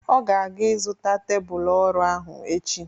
Ọ ga-aga ịzụta tebụl ọrụ ahụ echi.